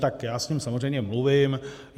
Tak já s ním samozřejmě mluvím.